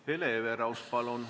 Hele Everaus, palun!